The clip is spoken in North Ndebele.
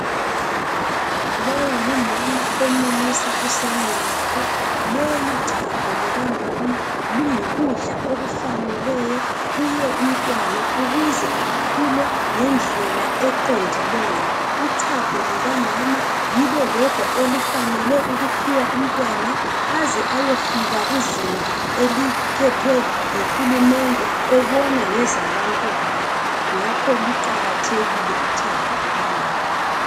Lowu ngumama omunyisa usane lwakhe, lolu chago lukamama luyikudla okufaneleyo kuye umntwana ukuze akhule ngendlela eqondileyo. Uchago lukamama yilo lodwa olufanele ukuphiwa umntwana aze ayefika kuzinga elikhethwe nguhulumende obona ngezabantwana. Ngakho luqakathekile uchago lukamama.